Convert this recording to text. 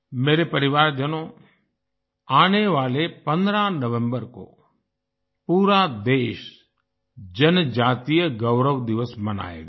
मेरे परिवारजनों आने वाले 15 नवंबर को पूरा देश जनजातीय गौरव दिवस मनाएगा